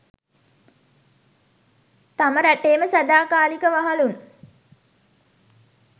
තම රටේම සදාකාලික වහලුන්